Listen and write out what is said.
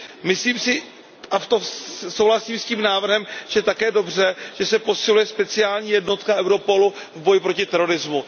Myslím si a v tom souhlasím s tím návrhem, že je také dobře, že se posiluje speciální jednotka Europolu v boji proti terorismu.